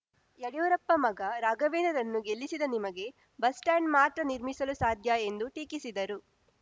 ಯಡಿಯೂರಪ್ಪ ಮಗ ರಾಘವೇಂದರನ್ನು ಗೆಲ್ಲಿಸಿದ ನಿಮಗೆ ಬಸ್‌ಸ್ಟಾಂಡ್‌ ಮಾತ್ರ ನಿರ್ಮಿಸಲು ಸಾಧ್ಯ ಎಂದು ಟೀಕಿಸಿದರು